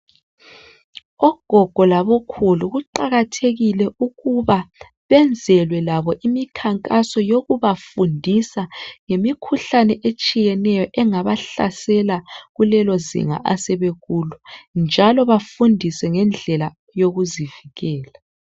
Ogogo labo khulu kuqakathekile ukuba benzelwe labo imikhankaso yokubafundisa ngemikhuhlane etshiyeneyo engabahlasela kulelozinga asebekulo njalo befundiswe ngendlela yokuzivikela.